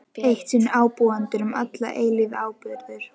Eitt sinn ábúendur, um alla eilífð áburður.